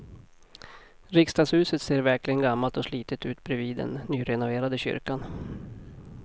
Riksdagshuset ser verkligen gammalt och slitet ut bredvid den nyrenoverade kyrkan.